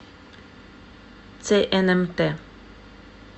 цнмт